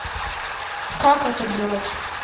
как это делать